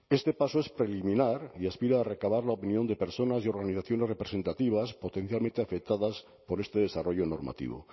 este paso es preliminar y aspira a recabar la opinión de personas y organizaciones representativas potencialmente afectadas por este desarrollo normativo